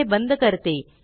मी हे बंद करते